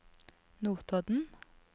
Notodden